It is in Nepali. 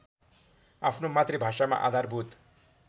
आफ्नो मातृभाषामा आधारभूत